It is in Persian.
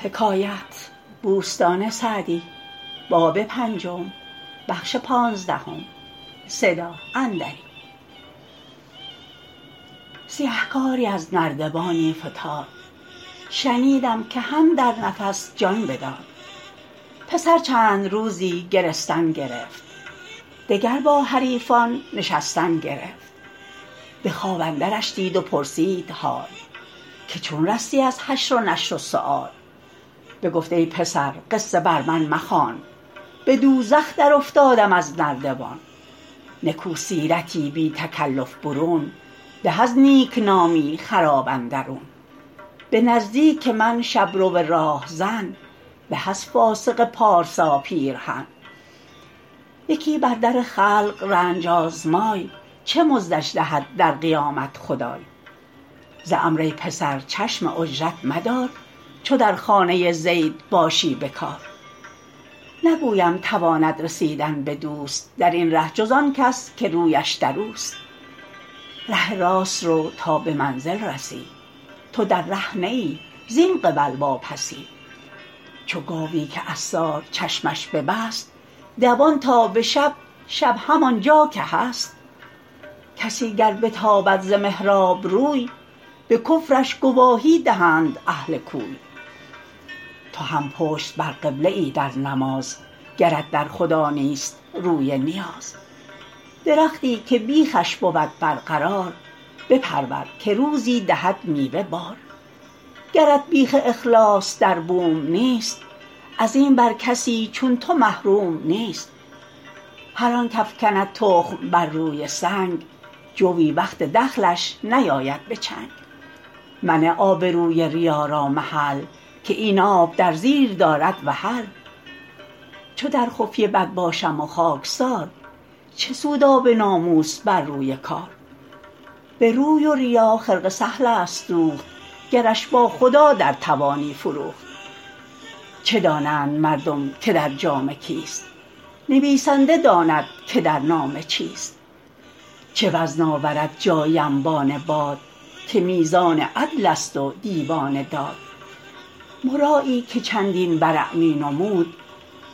سیهکاری از نردبانی فتاد شنیدم که هم در نفس جان بداد پسر چند روزی گرستن گرفت دگر با حریفان نشستن گرفت به خواب اندرش دید و پرسید حال که چون رستی از حشر و نشر و سؤال بگفت ای پسر قصه بر من مخوان به دوزخ در افتادم از نردبان نکو سیرتی بی تکلف برون به از نیکنامی خراب اندرون به نزدیک من شبرو راهزن به از فاسق پارسا پیرهن یکی بر در خلق رنج آزمای چه مزدش دهد در قیامت خدای ز عمرو ای پسر چشم اجرت مدار چو در خانه زید باشی به کار نگویم تواند رسیدن به دوست در این ره جز آن کس که رویش در اوست ره راست رو تا به منزل رسی تو در ره نه ای زین قبل واپسی چو گاوی که عصار چشمش ببست دوان تا به شب شب همان جا که هست کسی گر بتابد ز محراب روی به کفرش گواهی دهند اهل کوی تو هم پشت بر قبله ای در نماز گرت در خدا نیست روی نیاز درختی که بیخش بود برقرار بپرور که روزی دهد میوه بار گرت بیخ اخلاص در بوم نیست از این بر کسی چون تو محروم نیست هر آن کافکند تخم بر روی سنگ جوی وقت دخلش نیاید به چنگ منه آبروی ریا را محل که این آب در زیر دارد وحل چو در خفیه بد باشم و خاکسار چه سود آب ناموس بر روی کار به روی و ریا خرقه سهل است دوخت گرش با خدا در توانی فروخت چه دانند مردم که در جامه کیست نویسنده داند که در نامه چیست چه وزن آورد جایی انبان باد که میزان عدل است و دیوان داد مرایی که چندین ورع می نمود